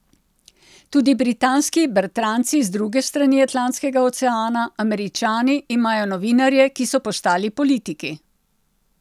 Tudi britanski bratranci z druge strani Atlantskega oceana, Američani, imajo novinarje, ki so postali politiki.